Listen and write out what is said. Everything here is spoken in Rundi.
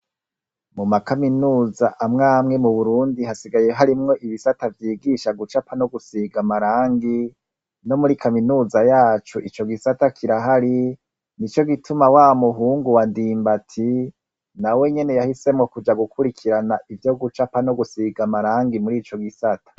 Mu makaminuza amwamwe mu Burundi hasigaye harimwo ibisata vyigisha gucapa no gusiga amarangi, no muri kaminuza yacu ico gisata kirahari nico gituma wa muhungu wa Ndimbati nawe nyene yahisemwo kuja ivyo gucapa no gusiga amarangi no muri kaminuza murico gisata.